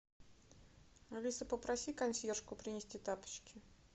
алиса попроси консьержку принести тапочки